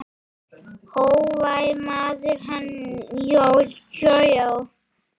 Hógvær maður, hann Jóel.